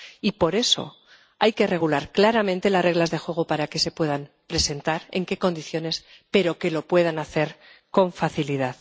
Y, por eso, hay que regular claramente las reglas de juego para que se puedan presentar, en qué condiciones, pero lo deben poder hacer con facilidad.